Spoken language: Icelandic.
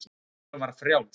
Takturinn var frjáls.